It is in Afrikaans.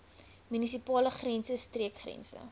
munisipale grense streekgrense